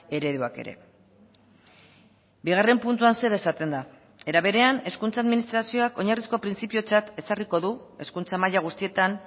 ereduak ere bigarren puntuan zer esaten da era berean hezkuntza administrazioak oinarrizko printzipiotzat ezarriko du hezkuntza maila guztietan